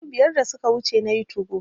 Shekaru biyar da suka wuce nayi 2go